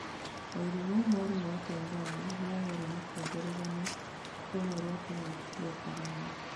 Wairimu mwarimu wa Tanzania nĩahũra mũkonde rũgano rũmwe rwa kĩng'ũki gĩa Korona